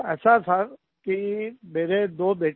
ऐसा था कि मेरे दो बेटे हैं